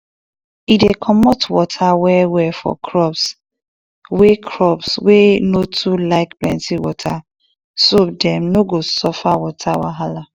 e dey comot water well well for crops wey crops wey no too like plenty water so dem no go suffer water wahala